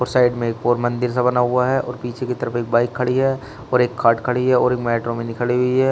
और साइड में एक और मंदिर सा बना हुआ है और पीछे की तरफ एक बाइक खड़ी है और एक खाट खड़ी है और एक मेट्रो मिनी खड़ी हुई है।